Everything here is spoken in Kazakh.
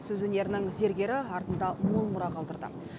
сөз өнерінің зергері артында мол мұра қалдырды